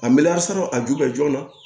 A meleyaa sann'a ju bɛ joona